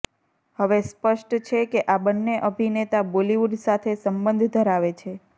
હવે સ્પષ્ટ છે કે આ બન્ને અભિનેતા બોલીવુડ સાથે સંબંધ ધરાવે છે